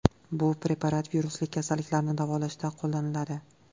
Bu preparat virusli kasalliklarni davolashda qo‘llaniladi.